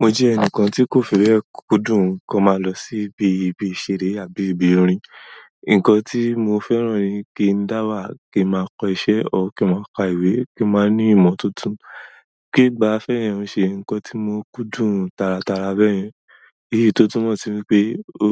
Mo jẹ́ ẹnìkan tí kò fẹ́rẹ̀ kúdùn kí ó máa lọ sí ibi ìbí ìṣeré àbí ibi orin. Ǹkan tí mo fẹ́ràn ni kí n dáwà, kí máa kọ́ iṣẹ́ o kí máa ka ìwé, kí máa ní ìmọ̀ tuntun. Kí gba fẹ́rẹ̀ẹ́ ń ṣe ǹkan tí mo kúndùn tàràtàrà bẹ́yẹn. Èyí tó túmọ̀ sí pé ó,